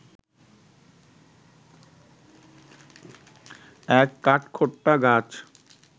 এক কাঠখোট্টা গাছ